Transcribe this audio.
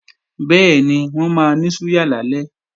Bẹ́ẹ̀ni, wọ́n máa ní súyà lálẹ́